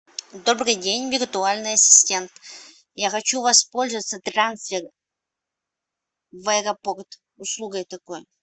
добрый день виртуальный ассистент я хочу воспользоваться трансфер в аэропорт услугой такой